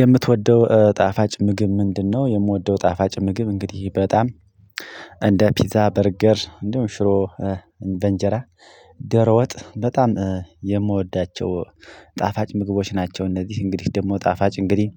የምትወደው ጣፋጭ ምግብ ምንድነው? የምወደው ጣፋጭ ምግብ እንግዲህ በጣም እንደ ፒዛ በርገር እንዲሁም ሽሮ በእንጀራ ዶሮ ወጥ በጣም የምወዳቸው ጣፋጭ ምግቦች ናቸው። እነዚህ እንግዲህ ደግሞ ጣፋጭ እንግዲህ